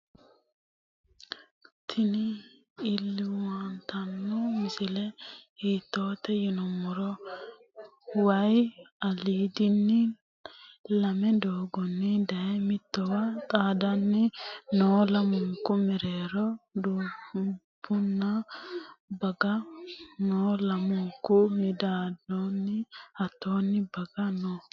tini lwltano misile hitote yinumoro wayi alidini lame doogoni daye mitowa xaadanni noo. lamunku merero dubunna baga noo. lamunku midadonni hatonni baaga noo.